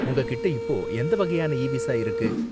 உங்ககிட்ட இப்போ எந்த வகையான இ விசா இருக்கு